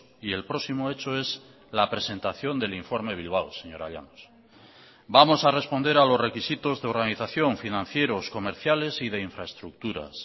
y el próximo hecho es la presentación del informe bilbao señora llanos vamos a responder a los requisitos de organización financieros comerciales y de infraestructuras